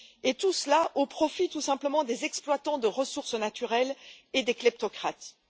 Et tout cela au profit, tout simplement, des exploitants de ressources naturelles et des kleptocrates.